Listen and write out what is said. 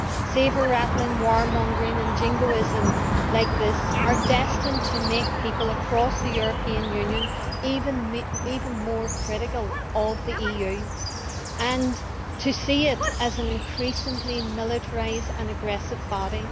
Sabre rattling, war mongering and jingoism like this are destined to make people across the European Union even more critical of the EU and to see it as an increasingly militarised and aggressive body.